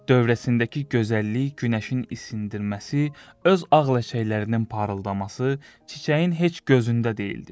Dövrəsindəki gözəllik, Günəşin isindirməsi, öz ağ ləçəklərinin parıldaması çiçəyin heç gözündə deyildi.